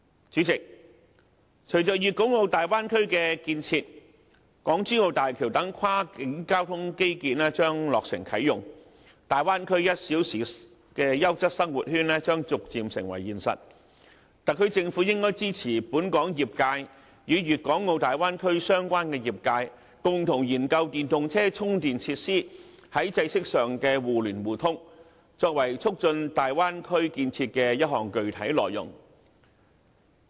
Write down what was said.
主席，隨着粵港澳大灣區的建設，港珠澳大橋等跨境交通基建將落成啟用，大灣區1小時優質生活圈將逐漸成為現實，特區政府應該支持本港業界與粵港澳大灣區相關的業界，共同研究電動車充電設施，在制式上的互聯互通，作為促進大灣區建設的一項具體內容。